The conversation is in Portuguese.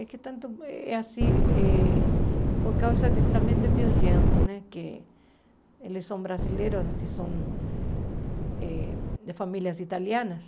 É que tanto é assim eh por causa também de meus gêneros né, que eles são brasileiros e são eh de famílias italianas.